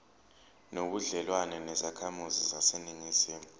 nobudlelwane nezakhamizi zaseningizimu